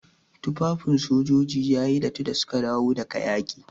Tufafin sojoji yayi datti da suka dawo daga yaƙi.